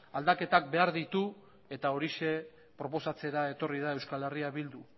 aldaketak behar ditu eta horixe proposatzera etorri da euskal herria bildu